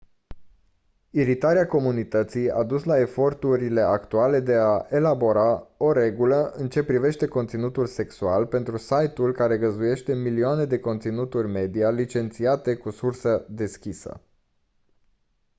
iritarea comunității a dus la eforturile actuale de a elabora o regulă în ce privește conținutul sexual pentru site-ul care găzduiește milioane de conținuturi media licențiate cu sursă deschisă